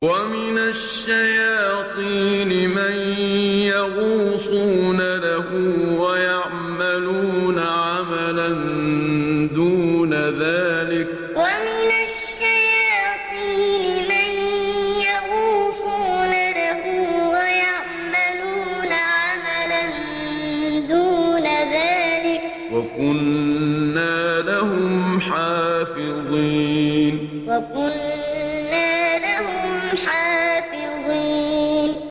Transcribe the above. وَمِنَ الشَّيَاطِينِ مَن يَغُوصُونَ لَهُ وَيَعْمَلُونَ عَمَلًا دُونَ ذَٰلِكَ ۖ وَكُنَّا لَهُمْ حَافِظِينَ وَمِنَ الشَّيَاطِينِ مَن يَغُوصُونَ لَهُ وَيَعْمَلُونَ عَمَلًا دُونَ ذَٰلِكَ ۖ وَكُنَّا لَهُمْ حَافِظِينَ